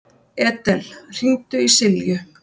Edel, hringdu í Silju.